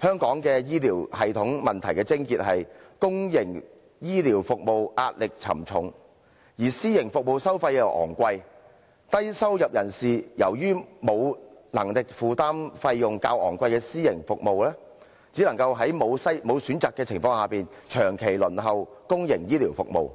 香港醫療系統的問題癥結，在於公營醫療服務壓力沉重，而私營服務收費昂貴，低收入人士由於沒有能力負擔費用較昂貴的私營服務，只能在沒有選擇的情況下，長期輪候公營醫療服務，